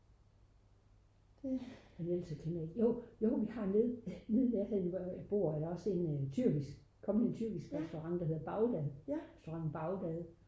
ellers så kender jeg ikke jo vi har nede i nærheden af hvor jeg bor er der sådan en tyrkisk kommende tyrkisk restaurant der hedder Baghdad restaurant Baghdad